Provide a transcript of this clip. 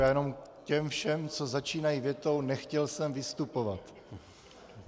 Já jenom těm všem, co začínají větou "nechtěl jsem vystupovat".